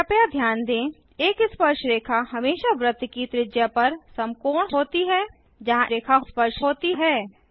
कृपया ध्यान दें एक स्पर्शरेखा हमेशा वृत्त की त्रिज्या पर समकोण होता है जहाँ स्पर्श होती है